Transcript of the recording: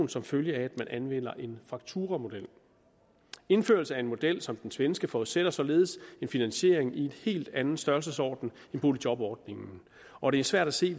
som følge af at man anvender en fakturamodel indførelse af en model som den svenske forudsætter således en finansiering i en helt anden størrelsesorden end boligjobordningen og det er svært at se